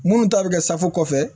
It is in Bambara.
Munnu ta bɛ kɛ safu kɔfɛ